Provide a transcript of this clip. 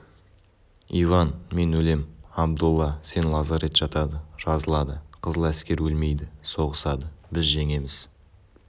иван мен өлем абдолла сен лазарет жатады жазылады қызыл аскер өлмейді соғысады біз жеңеміз